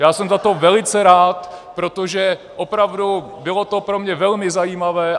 Já jsem za to velice rád, protože opravdu bylo to pro mě velmi zajímavé.